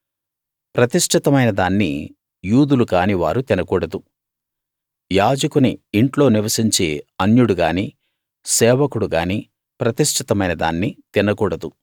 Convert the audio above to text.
ప్రతిష్ఠితమైన దాన్ని యూదులు కాని వారు తినకూడదు యాజకుని ఇంట్లో నివసించే అన్యుడు గాని సేవకుడు గాని ప్రతిష్ఠితమైన దాన్ని తినకూడదు